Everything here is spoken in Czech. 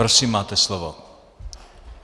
Prosím, máte slovo.